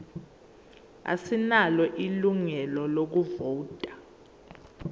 asinalo ilungelo lokuvota